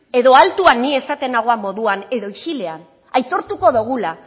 edo altuan ni esaten nagoan moduan edo isilean aitortuko dogula